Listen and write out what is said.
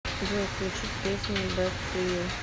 джой включить песня бэд ту ю